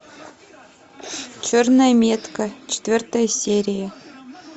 черная метка четвертая серия